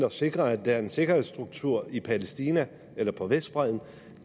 at sikre at der er en sikkerhedsstruktur i palæstina eller på vestbredden